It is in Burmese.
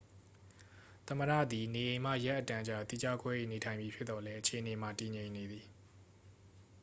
သမ္မတသည် နေအိမ်မှ ရက်အတန်ကြာ သီးခြားခွဲ၍နေထိုင်မည်ဖြစ်သော်လည်းအခြေအနေမှာ တည်ငြိမ်နေသည်